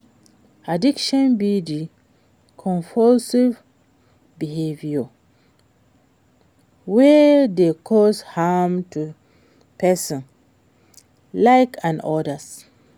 Addiction be di compulsive behavior wey dey cause harm to pesin life and odas.